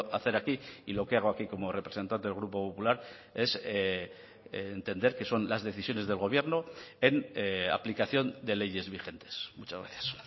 hacer aquí y lo que hago aquí como representante del grupo popular es entender que son las decisiones del gobierno en aplicación de leyes vigentes muchas gracias